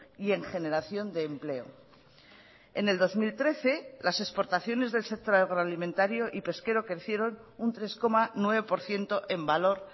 y en generación de empleo en el dos mil trece las exportaciones del sector agroalimentario y pesquero crecieron un tres coma nueve por ciento en valor